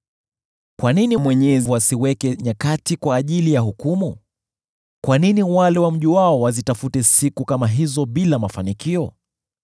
“Kwa nini Mwenyezi asiweke nyakati kwa ajili ya hukumu? Kwa nini wale wamjuao wazitafute siku kama hizo bila mafanikio?